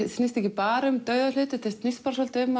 snýst ekki bara um dauða hluti þetta snýst svolítið um